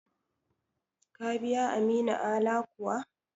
Ka biya Aminu Ala kuwa?